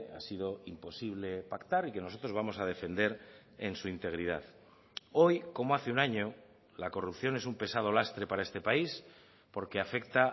ha sido imposible pactar y que nosotros vamos a defender en su integridad hoy como hace un año la corrupción es un pesado lastre para este país porque afecta